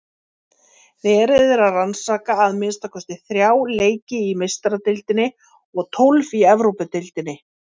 Verið er að rannsaka að minnsta kosti þrjá leiki í Meistaradeildinni og tólf í Evrópudeildinni.